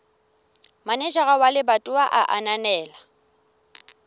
manejara wa lebatowa a ananela